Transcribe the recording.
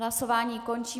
Hlasování končím.